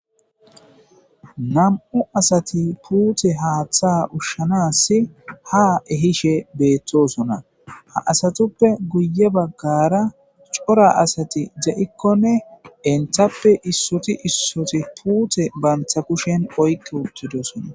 nam7u asati puute haaththa ushshanas ha ehishe beettosona ha asatuppe guye baggara cora asati ja7ikkonne enthappe issuti issoti puute bantha kushen oykke uttidosona